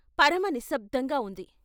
పరమ నిశ్శబ్దంగా ఉంది.